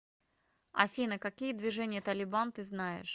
афина какие движение талибан ты знаешь